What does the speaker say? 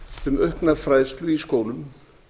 um aukna fræðslu í skólum